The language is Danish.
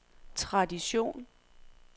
tradition